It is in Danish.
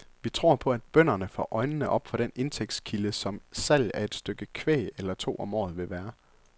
Vi tror på, at bønderne får øjnene op for den indtægtskilde, som salg af et stykke kvæg eller to om året vil være.